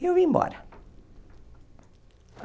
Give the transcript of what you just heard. E eu vim embora.